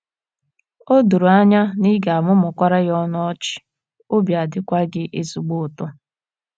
And you probably feel happier too. O doro anya na ị ga - amụmụkwara ya ọnụ ọchị, obi adịkwa gị ezigbo ụtọ.